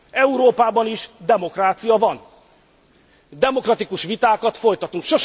Európában is demokrácia van, demokratikus vitákat folytatunk.